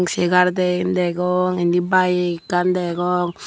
segar dian degong indi bike ekkan degong.